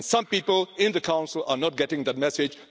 Some people in the Council are not getting that message.